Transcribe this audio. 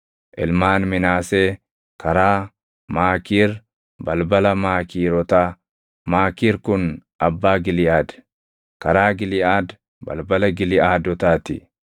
Ilmaan Minaasee: karaa Maakiir, balbala Maakiirotaa; Maakiir kun abbaa Giliʼaad; karaa Giliʼaad, balbala Giliʼaadotaa ti.